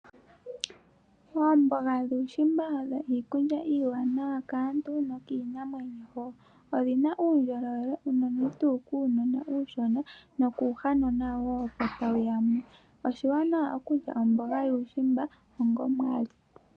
Oomboga dhuushimba odho iikulya iiwanawa kaantu nokiinamwenyo wo. Odhina uundjolowele unene tuu kuunona uushona, no kuuhanona wo opo tawu yamu. Oshiwanawa okulya omboga yuushimba onga omwali.